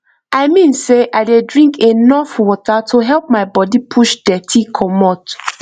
i mean sey i dey drink enough water to help my body push dirty commot